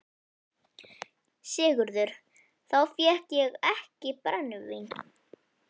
SIGURÐUR: Þá fékk ég ekki brennivín.